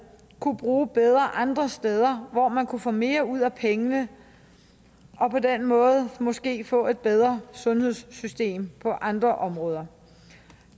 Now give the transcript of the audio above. kunne bruge bedre andre steder hvor man kunne få mere ud af pengene og på den måde måske få et bedre sundhedssystem på andre områder